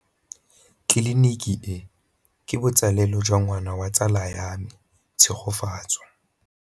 Tleliniki e, ke botsalêlô jwa ngwana wa tsala ya me Tshegofatso.